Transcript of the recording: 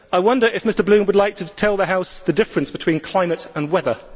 I wonder if Mr Bloom would like to tell the House the difference between climate and weather.